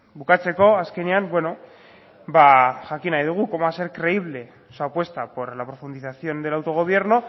bukatzeko azkenean beno ba jakin nahi dugu cómo va a ser creíble su apuesta por la profundización del autogobierno